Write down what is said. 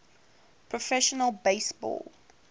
professional base ball